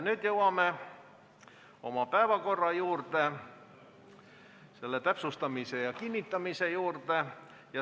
Nüüd jõuame oma päevakorra, selle täpsustamise ja kinnitamise juurde.